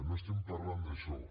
no estem parlant d’això